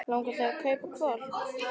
Langar þig að kaupa hvolp?